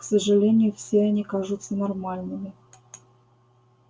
к сожалению все они кажутся нормальными